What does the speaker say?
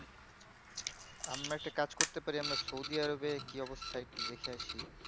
আমরা একটা কাজ করতে পারি আমরা সৌদি আরবে কি অবস্থা একটু দেখে আসি